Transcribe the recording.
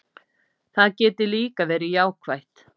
Það geti líka verið jákvætt.